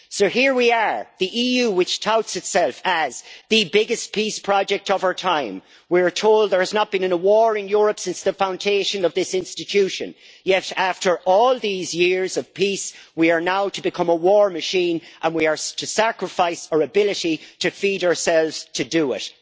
So here we are, with the EU, which touts itself as the biggest peace project of our time', and we're told there has not been in a war in Europe since the foundation of this institution, and yet, after all these years of peace, we are now to become a war machine and we are to sacrifice our ability to feed ourselves to do it.